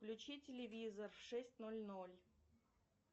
включи телевизор в шесть ноль ноль